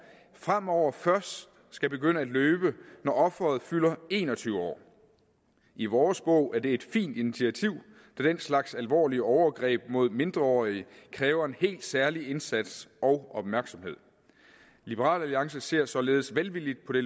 fremover først skal begynde at løbe når offeret fylder en og tyve år i vores bog er det et fint initiativ da den slags alvorlige overgreb mod mindreårige kræver en helt særlig indsats og opmærksomhed liberal alliance ser således velvilligt på det